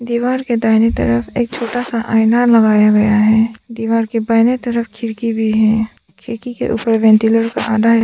दीवार के दाहिने तरफ एक छोटा सा आईना लगाया गया है दीवार के बहीने तरफ खिड़की भी हैं खिड़की के ऊपर वेंटिलेटर का आधा--